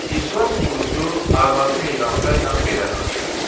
İclas Qurusu arvadı Meyransa ilə belə danışır.